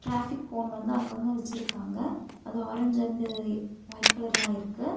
Traffic cone வந்து அங்கங்க வெச்சிருக்காங்க அது ஆரஞ்சு அண்டு ஒய்ட் கலர்ல ஆயிருக்கு.